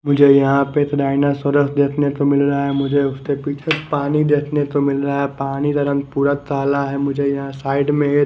मुझे यहाँ पे एक डायनासोरस देखने को मिल रहा है मुझे उसके पीछे पानी देखने को मिल रहा है पानी का रंग पूरा ताला है मुझे यहाँ साइड में --